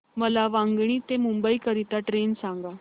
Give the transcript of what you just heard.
मला वांगणी ते मुंबई करीता ट्रेन सांगा